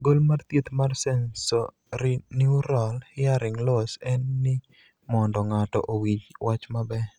gol mar thieth mar sensorineural hearing loss en ni mondo ng'ato owinj wach maber